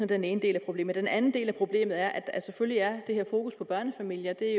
den ene del af problemet den anden del af problemet er at der selvfølgelig er det her fokus på børnefamilier det er